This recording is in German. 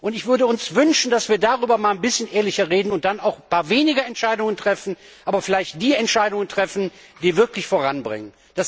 Ich würde uns wünschen, dass wir darüber einmal etwas ehrlicher reden und dann zwar etwas weniger Entscheidungen treffen, aber vielleicht die Entscheidungen treffen, die wirklich voranbringen.